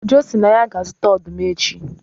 Ojo sị na ya ga-azụta ọdụm echi